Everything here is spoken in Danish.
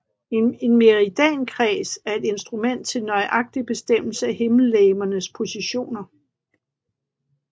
En meridiankreds er et instrument til nøjagtig bestemmelse af himmellegemernes positioner